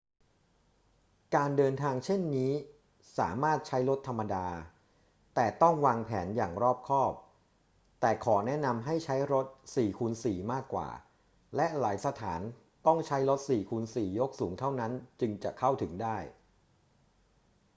การเดินทางเช่นนี้สามารถใช้รถธรรมดา แต่ต้องวางแผนอย่างรอบคอบ แต่ขอแนะนำให้ใช้ รถ 4x4 มากกว่า และหลายสถานต้องใช้รถ 4x4 ยกสูงเท่านั้นจึงจะเข้าถึงได้